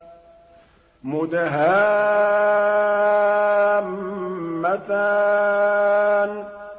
مُدْهَامَّتَانِ